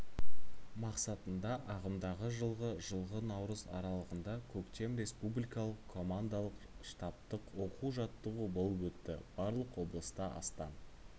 мақсатында ағымдағы жылғы жылғы наурыз аралығында көктем республикалық командалық-штабтық оқу-жаттығу болып өтті барлық облыста астан